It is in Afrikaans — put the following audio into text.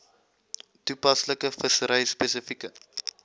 toepaslike vissery spesifieke